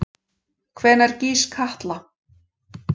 Hvenær gýs Katla?